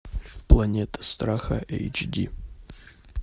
планета страха эйч ди